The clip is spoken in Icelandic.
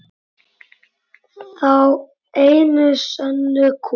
Þá einu sönnu kú.